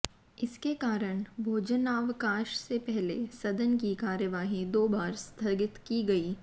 इसके कारण भोजनावकाश से पहले सदन की कार्यवाही दो बार स्थगित की गई